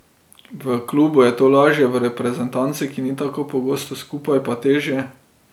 V klubu je to lažje, v reprezentanci, ki ni tako pogosto skupaj, pa težje.